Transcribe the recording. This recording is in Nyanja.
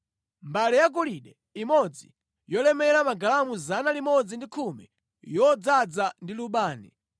mbale yagolide imodzi yolemera 110, yodzaza ndi lubani;